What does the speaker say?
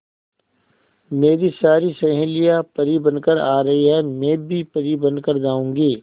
मेरी सारी सहेलियां परी बनकर आ रही है मैं भी परी बन कर जाऊंगी